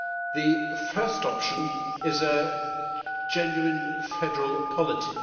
The first option is a genuine federal polity.